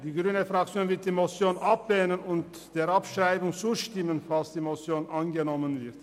Die grüne Fraktion wird die Motion ablehnen und der Abschreibung zustimmen, falls die Motion angenommen wird.